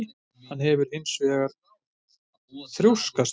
Hann hefur hins vegar þrjóskast við